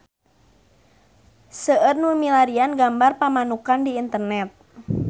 Seueur nu milarian gambar Pamanukan di internet